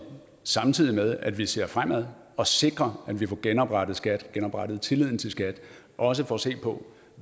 samtidig med at vi ser fremad og sikrer at vi får genoprettet skat genoprettet tilliden til skat også får set på